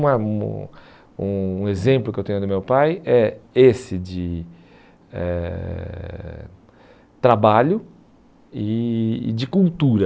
Um exemplo que eu tenho do meu pai é esse de eh trabalho e e de cultura.